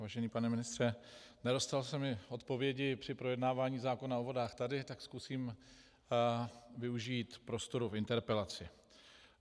Vážený pane ministře, nedostalo se mi odpovědi při projednávání zákona o vodách tady, tak zkusím využít prostoru v interpelaci.